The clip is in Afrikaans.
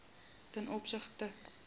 ten opsigte